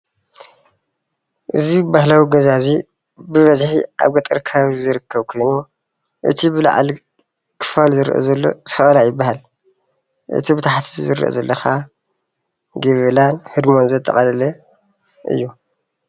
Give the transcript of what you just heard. እዚ ባህላዊ ገዛ እዚ ብበዝሒ ኣብ ገጠር ከባቢ ዝርከብ ኮይኑ እቲ ብላዕሊ ክፋል ዝረአ ዘሎ ሰቀላ ይባሃል፡፡ እቲ ዝረአ ዘሎ ከዓ ገበላን ህድሞን ዘጠቃለለ እዩ፡፡